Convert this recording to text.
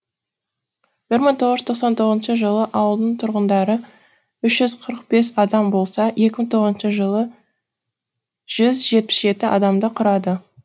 бір мың тоғыз жүз тоқсан тоғызыншы жылы ауылдың тұрғындары үш жүз қырық бес адам болса екі мың тоғызыншы жылы жүз жетпіс жеті адамды құрады